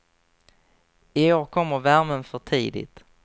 I år kommer värmen för tidigt.